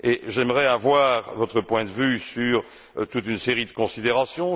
J'aimerais avoir votre point de vue sur toute une série de considérations.